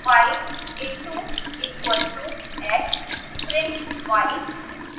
y into equal to x